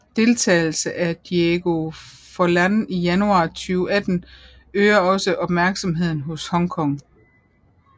Deltagelse af Diego Forlán i januar 2018 øger også opmærksomheden hos Hong Kong